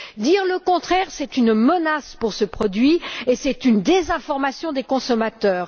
Dire le contraire, c'est une menace pour ce produit et c'est une désinformation des consommateurs.